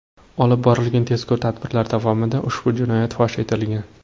Olib borilgan tezkor tadbirlar davomida ushbu jinoyat fosh etilgan.